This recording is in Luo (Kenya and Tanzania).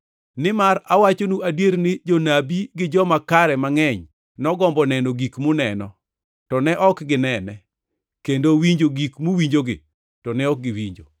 Nimar awachonu adier ni jonabi gi joma kare mangʼeny nogombo neno gik muneno, to ne ok ginene, kendo winjo gik muwinjogi, to ne ok giwinjo.